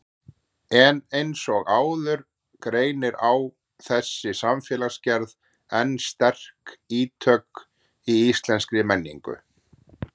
En eins og áður greinir á þessi samfélagsgerð enn sterk ítök í íslenskri menningu.